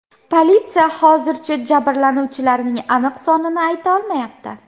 Politsiya hozircha jabrlanganlarning aniq sonini ayta olmayapti.